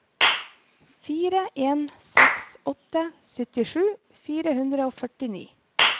fire en seks åtte syttisju fire hundre og førtini